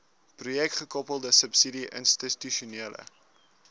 projekgekoppelde subsidie institusionele